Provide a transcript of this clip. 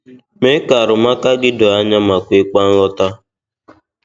Mee ka arụmụka gị doo anya ma kwekwa nghọta.